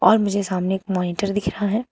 और मुझे सामने एक मॉनिटर दिख रहा है।